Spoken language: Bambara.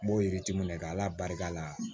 N b'o yiriti minɛ k'ala barika la